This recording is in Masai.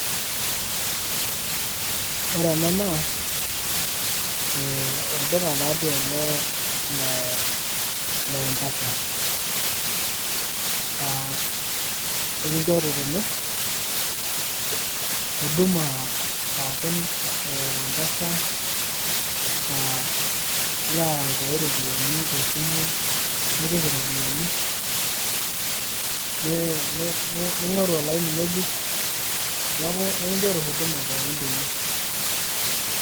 Ore ena naa, eh olduka tadii ele le M-PESA. Ah ekinchori tene, huduma pookin e M-PESA. Ilo aitayu ropiyaiani tesimu, nipik iropiyiani, ning'oru olaini ng'ejuk. Neeku ekinchori huduma pookin tene.